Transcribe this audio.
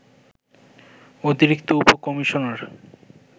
অতিরিক্ত উপ-কমিশনার